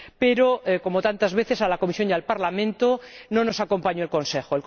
Pero, como tantas veces, a la Comisión y al Parlamento no nos acompañó el Consejo.